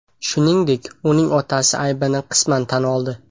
Shuningdek, uning otasi aybini qisman tan oldi .